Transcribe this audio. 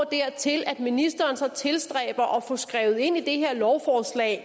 dertil at ministeren så tilstræber at få skrevet ind i det her lovforslag